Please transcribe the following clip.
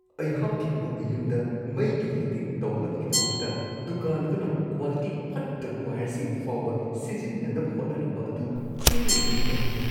ꯑꯩꯍꯥꯛꯀꯤ ꯑꯅꯧꯕ ꯌꯨꯝꯗ ꯃꯩꯒꯤ ꯐꯤꯇꯤꯡ ꯇꯧꯅꯕꯒꯤꯗꯃꯛꯇ ꯗꯨꯀꯥꯟ ꯑꯗꯨꯅ ꯀ꯭ꯋꯥꯂꯤꯇꯤ ꯐꯠꯇꯕ ꯋꯥꯏꯌꯔꯁꯤꯡ ꯐꯥꯎꯕ ꯁꯤꯖꯤꯟꯅꯅꯕ ꯍꯣꯠꯅꯔꯝꯕ ꯑꯗꯨ ꯈꯜꯂꯨꯕꯗ ꯌꯥꯅꯤꯡꯗꯦ ꯫